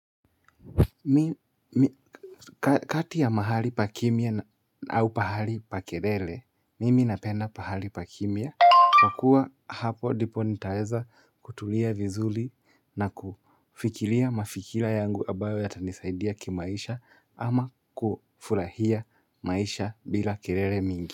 Kati ya mahali pa kimya au pahali pa kelele, mimi napenda pahali pa kimya Kwa kuwa hapo ndipo nitaeza kutulia vizuri na kufikiria mafikira yangu ambayo yatanisaidia kimaisha ama kufurahia maisha bila kelele mingi.